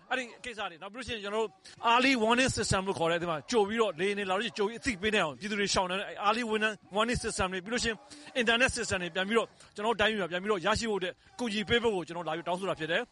အဲဒီကိစ္စတွေ၊ နောက်ပြီးလို့ရှိရင် ကျနော်တို့ early warning syestem လို့ခေါ်တဲ့ လေယာဉ်တွေလာလို့ရှိရင် ကြိုပြီးအသိပေးနိုင်အောင်၊ ပြည်သူတွေရှောင်နိုင်အောင် early warning syestem တွေ၊ ပြီးလို့ရှိရင် အင်တာနက်စနစ်တွေ ကျနော်တို့တိုင်းပြည်မှာ ပြန်ပြီးတော့ရရှိဖို့ အကူအညီပေးဖို့ ကျနော်တို့လာပြီး တောင်းဆိုတာဖြစ်တယ်